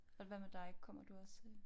Og hvad med dig kommer du også?